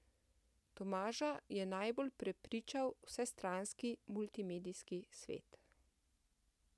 Tomaža je najbolj prepričal vsestranski multimedijski svet.